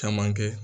Caman kɛ